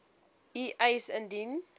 u eis indien